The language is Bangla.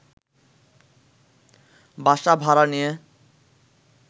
বাসা ভাড়া নিয়ে